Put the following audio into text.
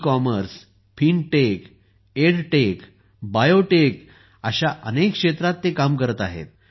ecommerce fintech edtech biotech अशा अनेक क्षेत्रांत ते काम करत आहेत